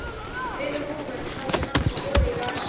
Rauðu húfunni hafði hann troðið í vasann.